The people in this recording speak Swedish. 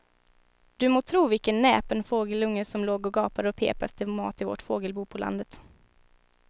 Du må tro vilken näpen fågelunge som låg och gapade och pep efter mat i vårt fågelbo på landet.